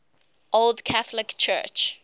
old catholic church